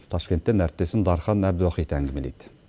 ташкенттен әріптесім дархан әбдуахит әңгімелейді